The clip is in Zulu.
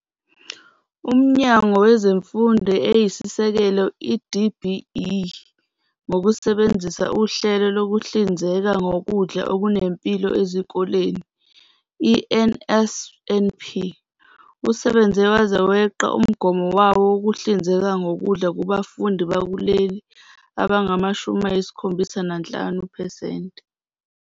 UMnyango Wezemfundo Eyisisekelo, i-DBE, ngokusebenzisa uHlelo Lokuhlinzeka Ngokudla Okunempilo Ezikoleni, i-NSNP, usebenze waze weqa umgomo wawo wokuhlinzeka ngokudla kubafundi bakuleli abangama-75 percent.